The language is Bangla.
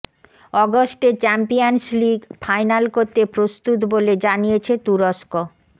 অগস্টে চ্যাম্পিয়নস লিগ ফাইনাল করতে প্রস্তুত বলে জানিয়েছে তুরস্ক